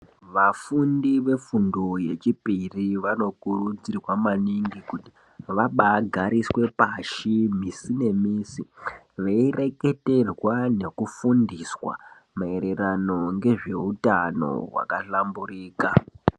Vafundi vefundo yechipiri, vanokurudzirwa maningi kuti vabagariswe pashi musi nemusi veyireketerwa nekufundiswa mayererano ngezvehutano wakahlamburika.